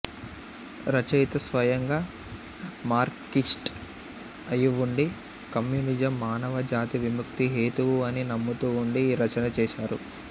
రచయిత స్వయంగా మార్క్సిస్ట్ అయివుండీ కమ్యూనిజం మానవ జాతి విముక్తి హేతువు అని నమ్ముతూ ఉండి ఈ రచన చేశారు